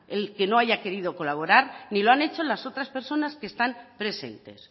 el que no haya querido colaborar ni lo han hecho las otras personas que están presentes